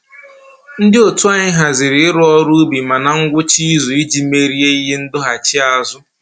Ndị otu anyị haziri ịrụ ọrụ ubi ma na ngwụcha izu iji merie ihe ndọghachiazụ